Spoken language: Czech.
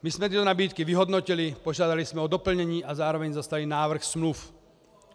My jsme tyto nabídky vyhodnotili, požádali jsme o doplnění a zároveň zaslali návrh smluv.